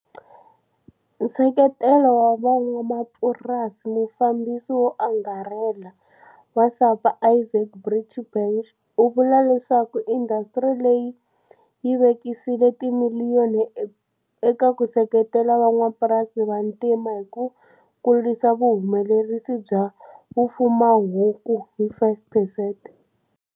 Nseketelo wa van'wamapurasi Mufambisi wo Angarhela wa SAPA Izaak Breitenbach u vula leswaku indasitiri leyi yi vekisile timiliyoni eka ku seketela van'wamapurasi vantima ni ku kurisa vuhumelerisi bya vufuwahuku hi 5 percent.